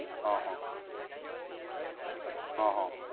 હા હા. હા હા.